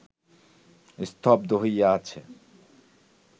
স্তব্ধ হইয়া আছে